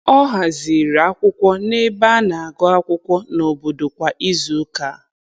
Ọ haziri akwụkwọ n'ebe a na-agụ akwụkwọ n'obodo kwa izuụka.